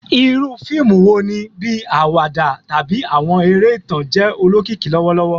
Iru fiimu wo ni, bii awada tabi awọn ere itan, jẹ olokiki lọwọlọwọ?